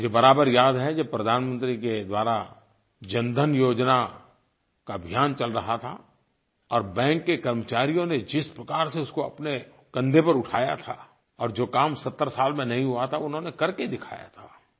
मुझे बराबर याद है जब प्रधानमंत्री के द्वारा जनधन योजना का अभियान चल रहा था और बैंक के कर्मचारियों ने जिस प्रकार से उसको अपने कंधे पर उठाया था और जो काम 70 साल में नहीं हुआ था उन्होंने करके दिखाया था